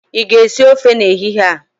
ị ga-esi ofe n'ehihie a?